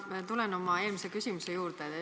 Ma tulen oma eelmise küsimuse juurde tagasi.